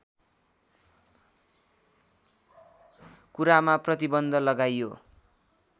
कुरामा प्रतिबन्ध लगाइयो